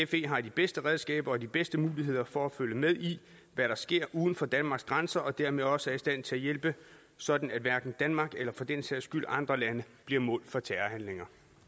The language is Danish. fe har de bedste redskaber og de bedste muligheder for at følge med i hvad der sker uden for danmarks grænser og dermed også er i stand til at hjælpe sådan at hverken danmark eller for den sags skyld andre lande bliver mål for terrorhandlinger